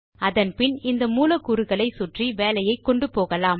அதன் பின் இந்த மூல கூறுகளை சுற்றி வேலையை கொண்டு போகலாம்